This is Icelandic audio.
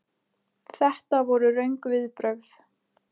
Þetta voru röng viðbrögð.